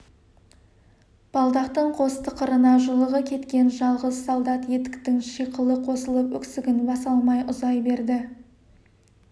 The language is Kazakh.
балдақтың қос тықырына жұлығы кеткен жалғыз солдат етіктің шиқылы қосылып өксігін баса алмай ұзай берді